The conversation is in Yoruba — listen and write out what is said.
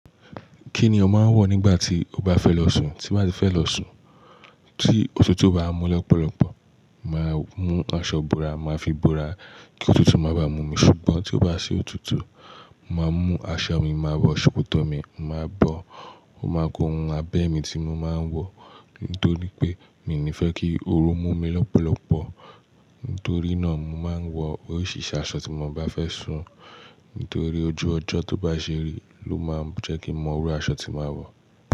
Kí ni o máa ń wọ̀ nígbà tí ó bá fẹ́ lọ sùn. Tí n bá ti fẹ́ lọ sùn, tí òtútù bá n mú lọ́pọ̀lọpọ̀, màá mú aṣọ ìbora, màá fi bora kí òtútù má bá mú mi. Ṣùgbọ́n tí ó bá ṣi òtútù, màá mú aṣọ mi, màá wọ sokotọ́ mi, màá bọ. Ó máa ku ohun abẹ́ mi tí mo máa ń wọ̀. Nítorí pé mi n ní fẹ́ kí ooru mú mi lọ́pọ̀lọpọ̀. Nítorí náà, mo máa ń wọ oríṣìíríṣìí aṣọ tí mo bá fẹ́ sùn. Nítorí ojú ọjọ́ tó bá ṣeri ló máa ń jẹ́ kí n mo mọ irú aṣọ tí màá wọ̀